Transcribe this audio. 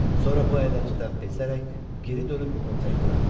Sonra bu əyləncədən bezərək geri dönüb onu tək buraxdılar.